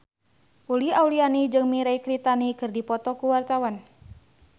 Uli Auliani jeung Mirei Kiritani keur dipoto ku wartawan